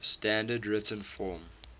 standard written form